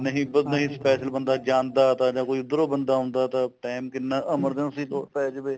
ਨਹੀਂ special ਬੰਦਾ ਜਾਂਦਾ ਜਾ ਤਾਂ ਉੱਧਰੋ ਬੰਦਾ ਆਉਂਦਾ ਤਾਂ time ਕਿੰਨਾ emergency ਲੋੜ ਪੈ ਜਾਵੇ